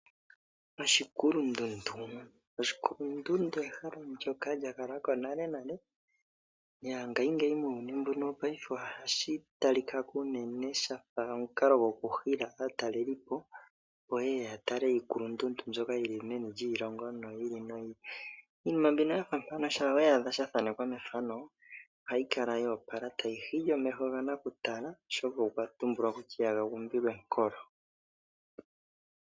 Oshikulundundu Oshikulundundu ehala ndyoka lya kala ko nale nale. Muuyuni wopaife ohashi tali ka ko unene sha fa omukalo gokuhila aatalelipo, opo ye ye ya tale iikulundundu mbyoka yi li meni lyiilongo yi ili noyi ili. Iinima mbyono ya fa mpano shampa ya adhika ya thanekwa methano ohayi kala yo opala tayi hili omeho ganakutala, oshoka okwa tumbulwa kutya ihaga gumbilwa enkolo.